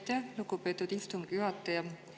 Aitäh, lugupeetud istungi juhataja!